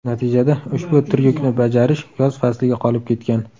Natijada ushbu tryukni bajarish yoz fasliga qolib ketgan.